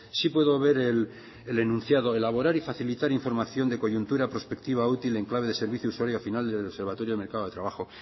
sí puedo ver el anunciado elaborar y facilitar información de coyuntura prospectiva útil en clave de servicio usuario final del observatorio de mercado de trabajo